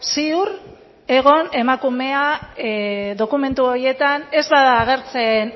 ziur egon emakumea dokumentu horietan ez bada agertzen